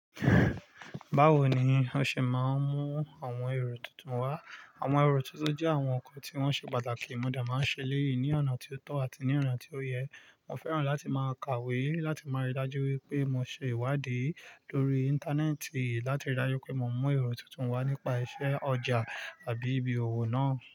Báwo ni o ṣe máa ń mú àwọn èrò tuntun wá? Àwọn èrò tuntun jẹ́ àwọn nǹkan tí wọ́n ṣe pàtàkì. Mo dẹ máa ń ṣe eléyìí ní ọ̀nà tí ó tọ́ àti ní ọ̀nà tí ó yẹ. Mo fẹ́ràn láti máa kàwé láti máa rí i daju wípé mo ṣe ìwádìí lórí Íńtánẹ́ẹ̀tì láti rí i dájú pé mo mú èrò tuntun wá nípa iṣẹ́ ọjà àbí ibi òwò náà.